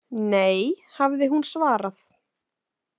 Nei, hafði hún svarað.